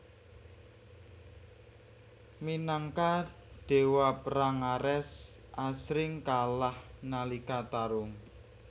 Minangka dewa perang Ares asring kalah nalika tarung